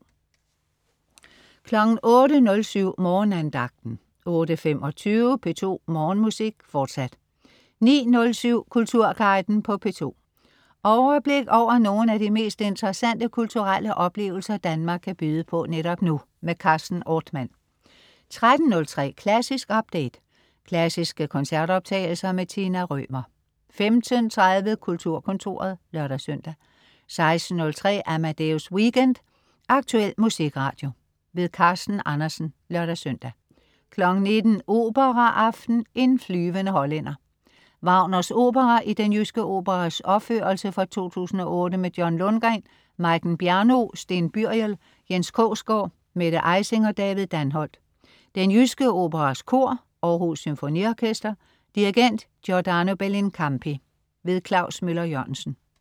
08.07 Morgenandagten 08.25 P2 Morgenmusik, fortsat 09.07 Kulturguiden på P2. Overblik over nogle af de mest interessante kulturelle oplevelser, Danmark kan byde på netop nu. Carsten Ortmann 13.03 Klassisk update. Klassiske koncertoptagelser. Tina Rømer 15.30 Kulturkontoret (lør-søn) 16.03 Amadeus Weekend. Aktuel musikradio. Carsten Andersen (lør-søn) 19.00 Operaaften. en flyvende Hollænder. Wagners opera i Den Jyske Operas opførelse fra 2008 med John Lundgreen, Majken Bjerno, Steen Byriel, Jens Krogsgaard, Mette Ejsing og David Danholt. Den Jyske Operas Kor. Aarhus Symfoniorkester. Dirigent: Giordano Bellincampi. Klaus Møller-Jørgensen